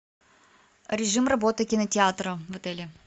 режим работы кинотеатра в отеле